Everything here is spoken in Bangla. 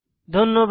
ধন্যবাদ